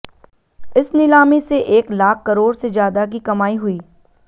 इस नीलामी से एक लाख करोड़ से ज्यादा की कमाई हुई